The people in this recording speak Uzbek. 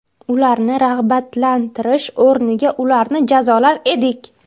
Ularni rag‘batlantirish o‘rniga ularni jazolar edik.